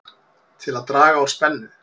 Til að draga úr spennu